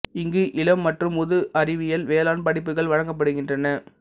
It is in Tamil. இங்கு இளம் மற்றும் முது அறிவியல் வேளாண் படிப்புகள் வழங்கப்படுகின்றன